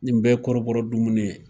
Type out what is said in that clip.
Nin bɛɛ kɔrɔbɔ dumuni ye.